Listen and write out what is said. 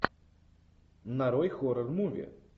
нарой хоррор муви